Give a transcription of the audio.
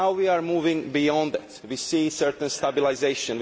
Now we are moving beyond that. We see a certain stabilisation.